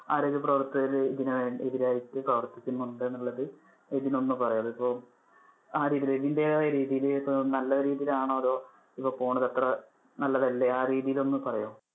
ആരോഗ്യപ്രവർത്തകര് ഇതിനു വേണ്ടി എതിരായിട്ട്‌ പ്രവർത്തിക്കുന്നുണ്ട് എന്നുള്ളത് എബിൻ ഒന്ന് പറയോ അത് ഇപ്പൊ ആ രീതിയിൽ എബിന്‍ടെതായ രീതിയിൽ അഹ് നല്ല രീതിയിൽ ആണോ ഇപ്പൊ പോകുന്നത് അത്ര നല്ലതല്ലേ ആ രീതിയിൽ ഒന്നു പറയോ?